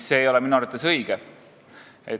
See ei ole minu arvates õige.